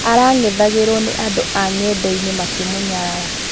Arang'ethagirwo nĩ andũ a ng'endainĩ makĩmũnyarara.